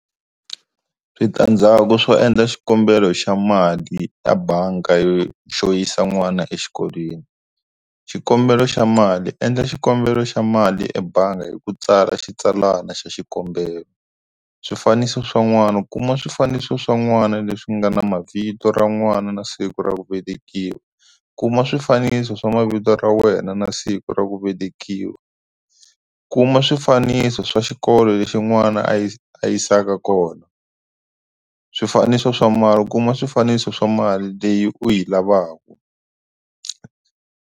Switandzhaku swo endla xikombelo xa mali ta banga yo xo yisa n'wana exikolweni xikombelo xa mali endla xikombelo xa mali ebangi hi ku tsara xitsalwana xa xikombelo swifaniso swa n'wana kuma swifaniso swa n'wana leswi nga na mavito ra n'wana na siku ra ku velekiwa kuma swifaniso swa mavito ra wena na siku ra ku velekiwa kuma swifaniso swa xikolo lexi n'wana a yi a yisaka kona swifaniso swa mali kuma swifaniso swa mali leyi u yi lavaka.